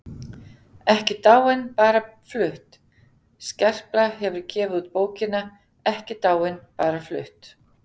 EKKI DÁIN BARA FLUTT Skerpla hefur gefið út bókina Ekki dáin- bara flutt.